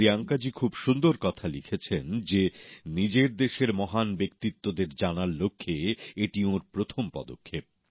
প্রিয়াঙ্কাজী খুব সুন্দর কথা লিখেছেন যে নিজের দেশের মহান ব্যক্তিত্বদের জানার লক্ষ্যে এটি ওঁর প্রথম পদক্ষেপ